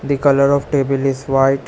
The colour of table is white.